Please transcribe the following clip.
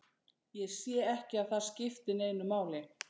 Ég sé ekki að það skipti neinu máli.